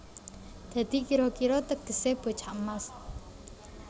Dadi kira kira tegesé bocah emas